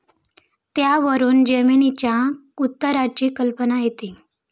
त्यावरून जमिनीच्या उताराची कल्पना येते.